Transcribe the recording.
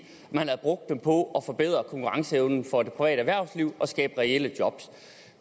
man havde brugt dem på at forbedre konkurrenceevnen for det private erhvervsliv og skabe reelle job